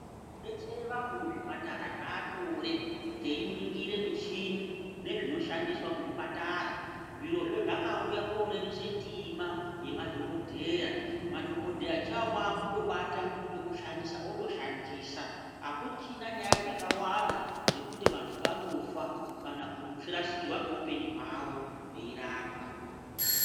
Kubetsere vantu muzvipatara zvanyore teiningira michini nezvinoshandiswa muzvipatara. Zvirozvo zvakauya korerutsa ndima yemadhogodheya. Madhogodheya chavo kwakungobata chekushandisa otoshandisa hakuchina nyaya dzakawanda dzekuti vantu vanofa kana kurasikirwa ngeupenyu hwavo veirapwa.